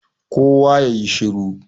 kowa ya yi shir!